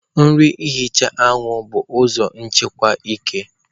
nri ihicha anwụ bụ ụzọ nchekwa eke.